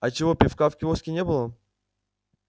а чего пива в киоске не было